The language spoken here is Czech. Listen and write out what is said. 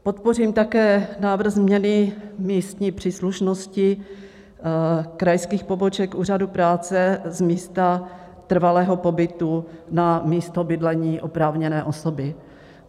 Podpořím také návrh změny místní příslušnosti krajských poboček Úřadu práce z místa trvalého pobytu na místo bydlení oprávněné osoby.